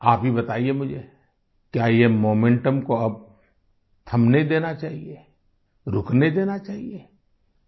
आप ही बताइये मुझे क्या ये मोमेंटम को अब थमने देना चाहिये रुकने देना चाहिये